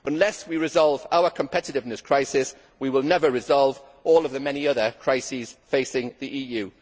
Unless we resolve our competitiveness crisis, we will never resolve the many other crises facing the EU.